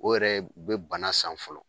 O yɛrɛ bɛ bana san fɔlɔ.